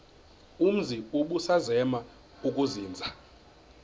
umzi ubusazema ukuzinza